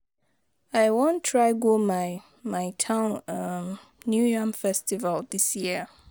I wan try go my my town um new yam festival dis year